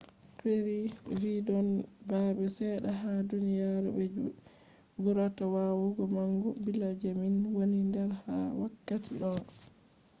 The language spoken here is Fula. perry vi ‘don babe sedda ha duniyaru je burata wawugo magugo billa je min woni der ha wakkati do.